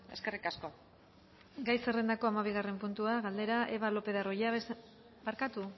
eskerrik asko tapia andrea gai zerrendako hamabigarren puntua galdera eva lopez de arroyabe barkatu